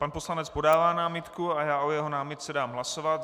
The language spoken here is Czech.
Pan poslanec podává námitku a já o jeho námitce dám hlasovat.